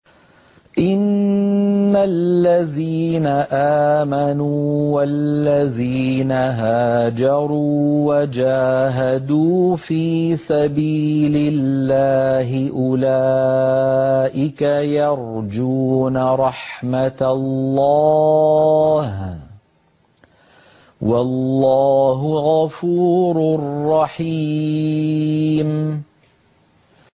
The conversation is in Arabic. إِنَّ الَّذِينَ آمَنُوا وَالَّذِينَ هَاجَرُوا وَجَاهَدُوا فِي سَبِيلِ اللَّهِ أُولَٰئِكَ يَرْجُونَ رَحْمَتَ اللَّهِ ۚ وَاللَّهُ غَفُورٌ رَّحِيمٌ